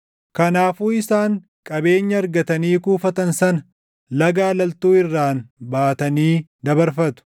Kanaafuu isaan qabeenya argatanii kuufatan sana Laga Alaltuu irraan baatanii dabarfatu.